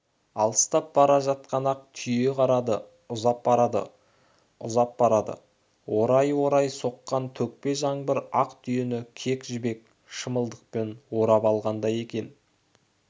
алыстап бара жатқан ақ түйеге қарады ұзап барады ұзап барады орай-орай соққан төкпе жаңбыр ақ түйені кек жібек шымылдықпен орап алғандай екен